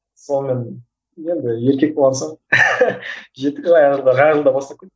сонымен енді еркек болған соң жеттік жаңа жылға жаңа жылда бастап кеттім